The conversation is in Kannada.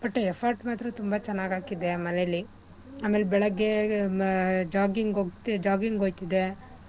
But effort ಮಾತ್ರ ತುಂಬಾ ಚೆನ್ನಾಗ್ ಹಾಕಿದ್ದೇ ಮನೇಲಿ ಆಮೆಲ್ ಬೆಳಿಗ್ಗೆ jogging ಹೋಗ್ jogging ಹೋಯ್ತಿದ್ದೆ,